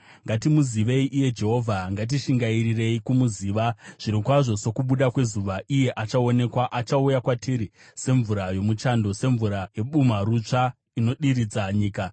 Ngatimuzivei iye Jehovha; ngatishingairirei kumuziva. Zvirokwazvo sokubuda kwezuva, achaonekwa; achauya kwatiri semvura yomuchando, semvura yebumharutsva inodiridza nyika.”